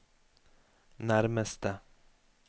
nærmeste